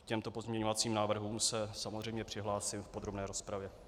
K těmto pozměňovacím návrhům se samozřejmě přihlásím v podrobné rozpravě.